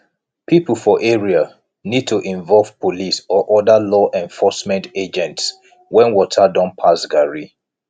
pipo for area need to involve police or oda law enforcement agents when water don pass garri